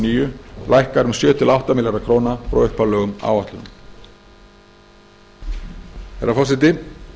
níu lækkar um sjö til átta milljarða króna frá upphaflegum áætlunum herra forseti